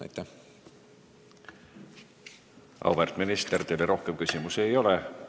Auväärt minister, teile rohkem küsimusi ei ole.